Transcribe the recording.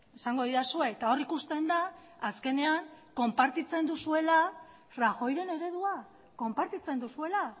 esango didazue eta hor ikusten da azkenean konpartitzen duzuela rajoyren eredua konpartitzen duzuela